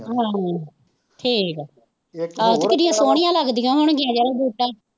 ਹੂੰ, ਠੀਕ ਹੈ, ਆਹੋ ਕਿੱਡੀਆਂ ਸੋਹਣੀਆਂ ਲੱਗਦੀਆਂ ਹੋਣਗੀਆਂ ਜਿਹੜਾ ਬੂਟਾ